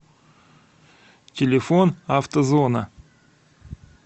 телефон автозона